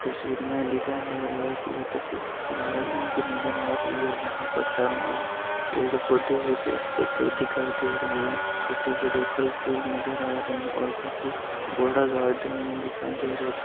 तस्वीर में दिखाई दे रहा है की ये तस्वीर गार्डन की नज़र आ रही है जहा पर चारो और पेड़ पौधे है पेड़ पौधे दिखाई दे रहे है चोट बड़े फल फूल नज़र आ रहे है और काफी बड़ा गार्डन यहाँ दिखाई दे रहा है।